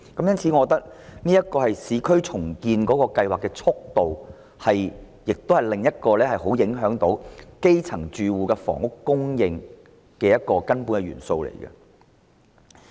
因此，我認為市區重建計劃的速度是另一項頗為影響基層住戶房屋供應的根本元素。